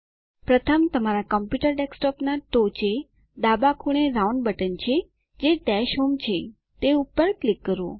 પ્રથમ તમારા કમ્પ્યુટર ડેસ્કટોપના ટોચે ડાબા ખૂણે રાઉન્ડ બટન છે જે ડૅશ હોમ છે તે ઉપર ક્લિક કરો